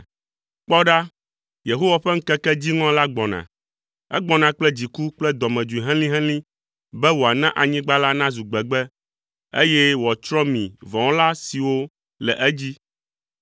Kpɔ ɖa, Yehowa ƒe ŋkeke dziŋɔ la gbɔna. Egbɔna kple dziku kple dɔmedzoe helĩhelĩ be woana anyigba la nazu gbegbe, eye wòatsrɔ̃ mi vɔ̃wɔla siwo le edzi.